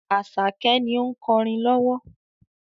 Àṣàkẹ́ ni ó ń kọrin lowo.